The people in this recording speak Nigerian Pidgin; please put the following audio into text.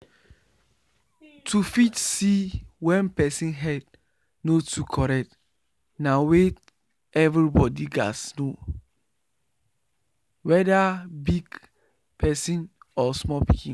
to fit see wen person head no too correct na weyth every body gats know weda big person or small pikin